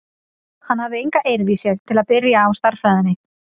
Hann hafði enga eirð í sér til að byrja á stærðfræðinni.